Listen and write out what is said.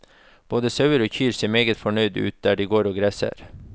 Både sauer og kyr ser meget fornøyde ut der de går og gresser.